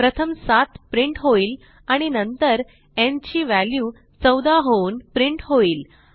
प्रथम 7 प्रिंट होईल आणि नंतर न् ची व्हॅल्यू 14 होऊन प्रिंट होईल